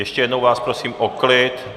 Ještě jednou vás prosím o klid!